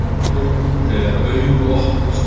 Þú, þegar augu opnast.